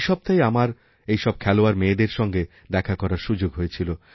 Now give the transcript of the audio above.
এই সপ্তাহে আমার এইসব খেলোয়াড় মেয়েদের সঙ্গে দেখা করার সুযোগ হয়েছিল